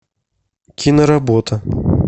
киноработа